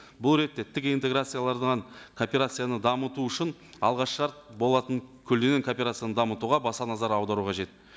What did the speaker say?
бұл ретте тік интерграцияланған кооперацияны дамыту үшін алғаш шарт болатын кооперацияны дамытуға баса назар аудару қажет